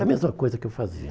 A mesma coisa que eu fazia.